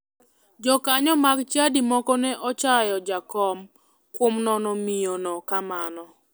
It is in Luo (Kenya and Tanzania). Jokanyo mag chadi moko ne ochayo jakom kuom nono miyono kamano.